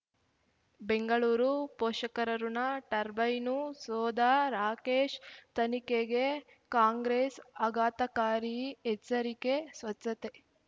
ಬೆಂಗಳೂರು ಪೋಷಕರಋಣ ಟರ್ಬೈನು ಸೋಧ ರಾಕೇಶ್ ತನಿಖೆಗೆ ಕಾಂಗ್ರೆಸ್ ಆಘಾತಕಾರಿ ಎಚ್ಚರಿಕೆ ಸ್ವಚ್ಛತೆ